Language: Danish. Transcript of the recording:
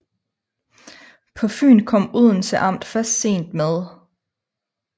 På Fyn kom Odense amt først sent med